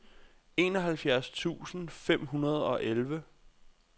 enoghalvfjerds tusind fem hundrede og elleve